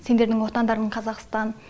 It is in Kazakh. сендердің отандарың қазақстан